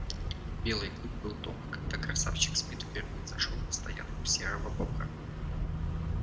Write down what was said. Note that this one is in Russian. белый клык был дома когда красавчик смит впервые зашёл на стоянку серого бобра